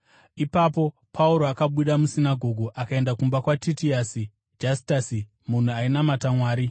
Ipapo Pauro akabuda musinagoge akaenda kumba kwaTitiasi Jastasi munhu ainamata Mwari.